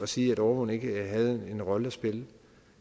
sige at overvågning ikke havde en rolle at spille